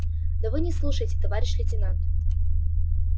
да вы не слушайте товарищ лейтенант